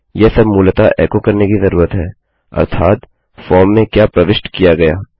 यह सब मूलतः एको करने की जरूरत है अर्थात फॉर्म में क्या प्रविष्ट किया गया